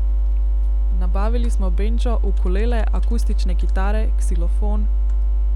Nabavili smo bendžo, ukulele, akustične kitare, ksilofon ...